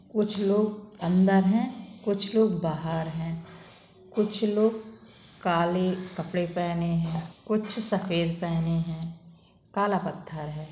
कुछ लोग अंदर हैं कुछ लोग बाहर हैं। कुछ लोग काले कपड़े पेहने हैं। कुछ सफेद पेहने हैं। काला पत्थर है।